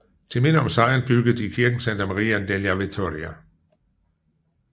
Til minde om sejren byggede de kirken Santa Maria della Vittoria